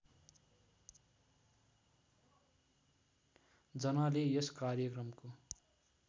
जनाले यस कार्यक्रमको